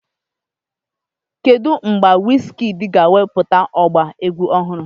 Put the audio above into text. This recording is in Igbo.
Kedu mgbe Wizkidii ga-ewepụta ọba egwu ọhụrụ?